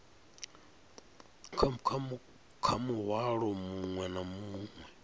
kha muhwalo muṅwe na muṅwe